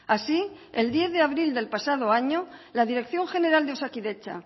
así el diez de abril del pasado año la dirección general de osakidetza